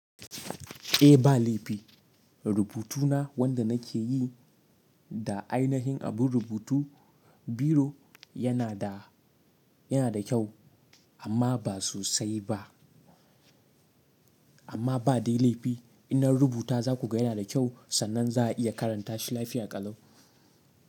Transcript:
Eh ba laifi rubutuna wanda nake yi da ainihin abin rubutu biro yana da, yana da kyau amma ba sosai ba. Amma ba dai laifi in na rubuta za ku ga yana da kyau sannan za a iya karanta shi lafiya ƙalau.